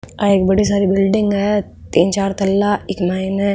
आ एक बड़ी सारी बिल्डिंग है तीन चार तल्ला इक माइन --